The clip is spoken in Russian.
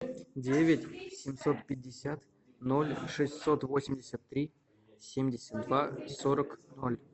девять семьсот пятьдесят ноль шестьсот восемьдесят три семьдесят два сорок ноль